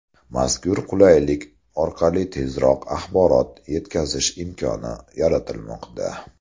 Mazkur qulaylik orqali tezkor axborot etkazish imkoni yaratilmoqda.